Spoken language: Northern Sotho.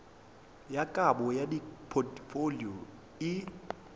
ya kabo ya dipotfolio e